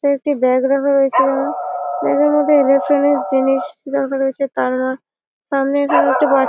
এটা একটি ব্যাগ রাখা রয়েছে ব্যাগ - এর মধ্যে ইলেকট্রনিক্স জিনিস রাখা রয়েছে তার সামনে একটি ব--